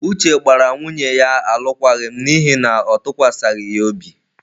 Uche gbara nwunye ya alụkwaghịm n'ihi na ọ tụkwasịghi ya obi.